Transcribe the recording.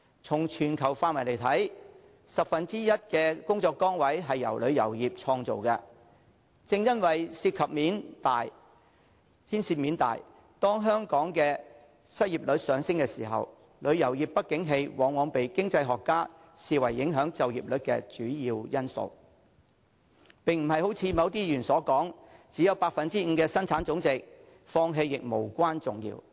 從全球範圍來看，十分之一的工作崗位由旅遊業創造，正因為牽涉面大，當香港的失業率一旦上升，旅遊業不景氣往往被經濟學家視為影響就業率的主要因素，並不像某些議員所說只有 5% 的生產總值，放棄亦無關重要。